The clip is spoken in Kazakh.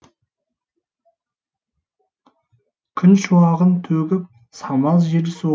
күн шуағын төгіп самал жел соғып жанға жайлылық сыйлады